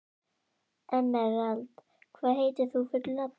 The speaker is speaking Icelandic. Emerald, hvað heitir þú fullu nafni?